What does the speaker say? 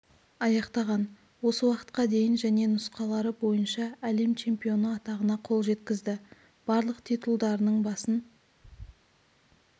аяқтаған осы уақытқа дейін және нұсқалары бойынша әлем чемпионы атағына қол жеткізді барлық титулдарының басын